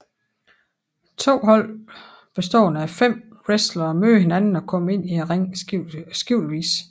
To hold bestående af fem wrestlere møder hinanden og kommer ind i ringen skiftevis